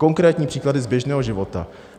Konkrétní příklady z běžného života.